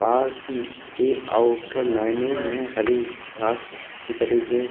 park के outer lining में हरी घांस अच्छी तरीके --